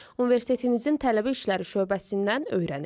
universitetinizin tələbə işləri şöbəsindən öyrənin.